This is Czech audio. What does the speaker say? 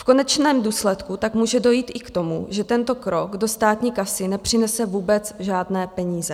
V konečném důsledku tak může dojít i k tomu, že tento krok do státní kasy nepřinese vůbec žádné peníze.